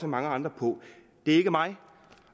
mange andre på det er ikke mig